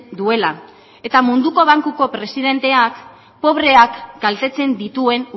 duela eta munduko bankuko presidenteak pobreak kaltetzen dituen